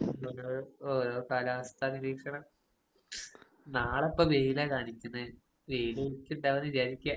ഓരോ ഓരോ കാലാവസ്ഥ നിരീക്ഷണം. നാളെ ഇപ്പൊ വെയിലാ കാണിക്കുന്നേ വെയില് ഉദിക്കണ്ടാവൂന്ന് വിചാരിക്കാ.